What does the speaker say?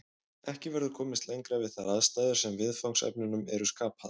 Ekki verður komist lengra við þær aðstæður sem viðfangsefnunum eru skapaðar.